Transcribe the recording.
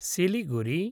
Siliguri